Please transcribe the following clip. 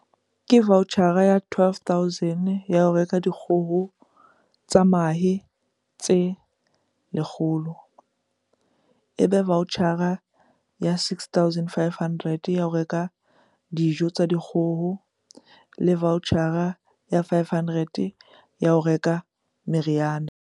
"Ke vaotjhara ya R12 000 ya ho reka dikgoho tsa mahe tse 100, ebe vaotjhara ya R6 500 ya ho reka dijo tsa dikgoho le vaotjhara ya R500 ya ho reka meriana".